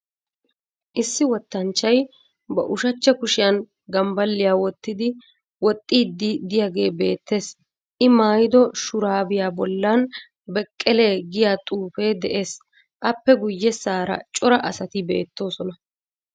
Issi Wottanchchay ba ushachcha kushiyaan gambaliya wottidi woxiddi diyagge beettes. I maayido shuraabiyaa bollan Bekele giyaa xuufe de'es. Appe guyessara cora asatti beetosona.